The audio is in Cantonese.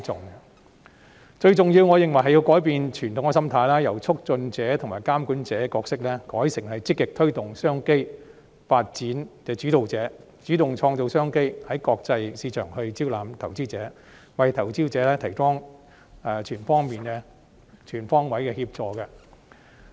我認為最重要的是改變傳統心態，由促進者和監管者角色改為積極推動商機發展的主導者，主動創造商機，在國際市場招攬投資者，為投資者提供全方位的協助。